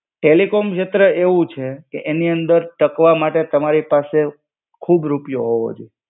Telecom શેત્રે એવું છે કે એની અંદર તકવા માટે તમારી પાસે ખુબ રૂપિયો હોવો જોઈએ.